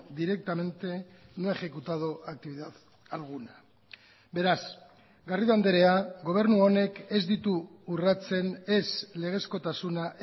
directamente no ha ejecutado actividad alguna beraz garrido andrea gobernu honek ez ditu urratzen ez legezkotasuna